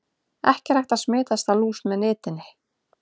Ekki er hægt að smitast af lús með nitinni.